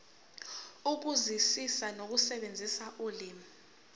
ukuzwisisa nokusebenzisa ulimi